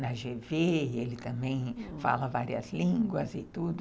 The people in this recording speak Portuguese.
na gê vê e ele também fala várias línguas e tudo.